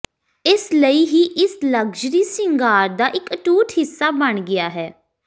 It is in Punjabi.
ਇਸ ਲਈ ਹੀ ਇਸ ਲਗਜ਼ਰੀ ਸ਼ਿੰਗਾਰ ਦਾ ਇੱਕ ਅਟੁੱਟ ਹਿੱਸਾ ਬਣ ਗਿਆ ਹੈ